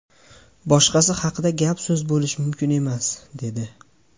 Boshqasi haqida gap-so‘z bo‘lishi mumkin emas”, dedi.